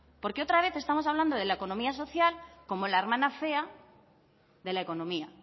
porque otra vez estamos hablando de la economía social como la hermana fea de la economía